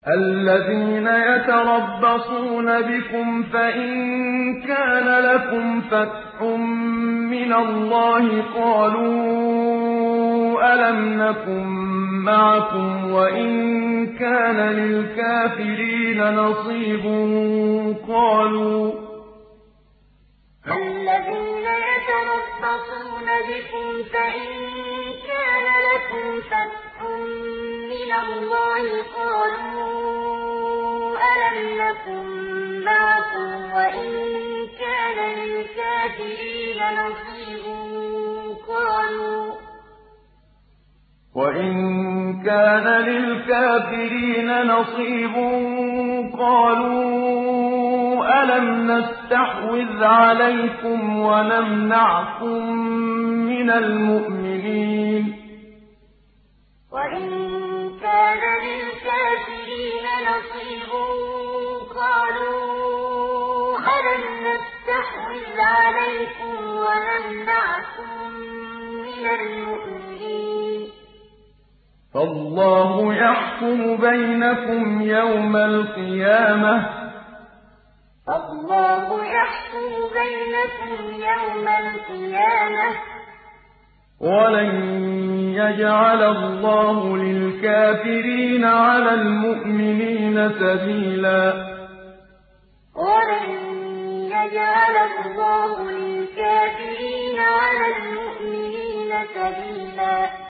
الَّذِينَ يَتَرَبَّصُونَ بِكُمْ فَإِن كَانَ لَكُمْ فَتْحٌ مِّنَ اللَّهِ قَالُوا أَلَمْ نَكُن مَّعَكُمْ وَإِن كَانَ لِلْكَافِرِينَ نَصِيبٌ قَالُوا أَلَمْ نَسْتَحْوِذْ عَلَيْكُمْ وَنَمْنَعْكُم مِّنَ الْمُؤْمِنِينَ ۚ فَاللَّهُ يَحْكُمُ بَيْنَكُمْ يَوْمَ الْقِيَامَةِ ۗ وَلَن يَجْعَلَ اللَّهُ لِلْكَافِرِينَ عَلَى الْمُؤْمِنِينَ سَبِيلًا الَّذِينَ يَتَرَبَّصُونَ بِكُمْ فَإِن كَانَ لَكُمْ فَتْحٌ مِّنَ اللَّهِ قَالُوا أَلَمْ نَكُن مَّعَكُمْ وَإِن كَانَ لِلْكَافِرِينَ نَصِيبٌ قَالُوا أَلَمْ نَسْتَحْوِذْ عَلَيْكُمْ وَنَمْنَعْكُم مِّنَ الْمُؤْمِنِينَ ۚ فَاللَّهُ يَحْكُمُ بَيْنَكُمْ يَوْمَ الْقِيَامَةِ ۗ وَلَن يَجْعَلَ اللَّهُ لِلْكَافِرِينَ عَلَى الْمُؤْمِنِينَ سَبِيلًا